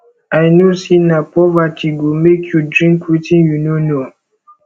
i no say na poverty go make you drink wetin you no know